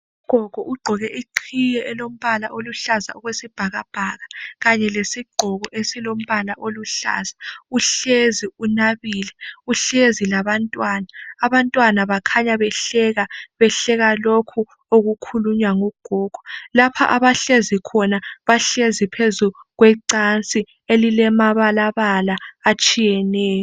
Ugogo ugqoke iqhiye elombala oluhlaza okwesibhakabhaka kanye lesigqoko esilombala oluhlaza. uhlezi unabile ,uhlezi labantwana. Abantwana bakhanya behleka, behleka lokhu okukhulunywa ngugogo. Lapha abahlezi khona bahlezi phezulu kwecansi elilamabalabala atshiyeneyo.